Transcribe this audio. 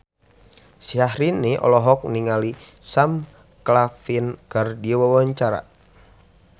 Syahrini olohok ningali Sam Claflin keur diwawancara